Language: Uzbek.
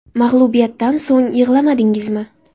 − Mag‘lubiyatdan so‘ng yig‘lamadingizmi?